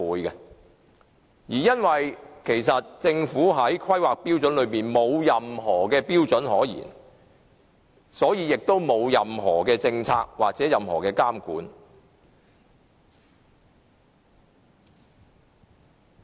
由於政府的《規劃標準》沒有訂立相關標準，所以沒有任何相關政策或監管。